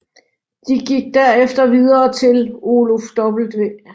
De gik derefter videre til Oluf W